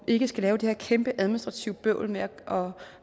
ikke skal have det her kæmpe administrative bøvl med at